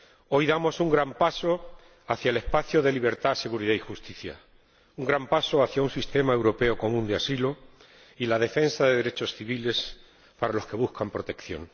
Hoy damos un gran paso hacia el espacio de libertad, seguridad y justicia, un gran paso hacia un sistema europeo común de asilo y hacia la defensa de los derechos civiles para los que buscan protección.